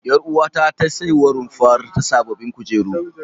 Ƴaruwata ta saiwa runfar ta sababbin kujeru.